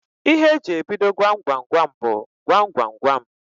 Ihe eji ebido Gwam Gwam Gwam bụ "Gwam Gwam Gwam"